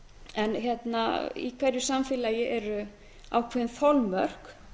en í hverju samfélagi eru ákveðin þolmörk